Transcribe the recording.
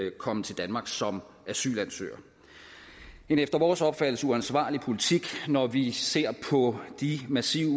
at komme til danmark som asylansøger en efter vores opfattelse uansvarlig politik når vi ser på de massive